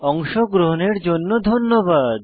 অংশগ্রহনের জন্য ধন্যবাদ